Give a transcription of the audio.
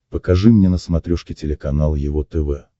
покажи мне на смотрешке телеканал его тв